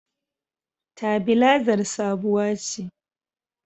Tabilazar sabuwa ce